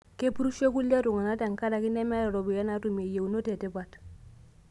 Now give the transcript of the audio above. Kepurisho kulie tung'ana tenkaraki nemeeta ropiyani naatumie yieunot etipat